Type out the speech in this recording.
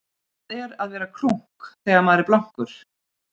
Hvað er að vera krunk þegar maður er blankur?